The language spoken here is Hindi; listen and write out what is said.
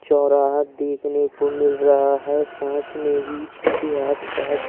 चौराहा देखने को मिल रहा है साथ में ही इसके आसपास--